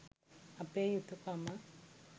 අපේ යුතුකම.